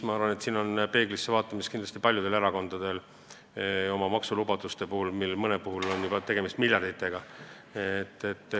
Ma arvan, et siin on paljudel erakondadel kindlasti vaja peeglisse vaadata oma maksulubaduste koha pealt, sest mõnel puhul on ju tegemist miljarditega.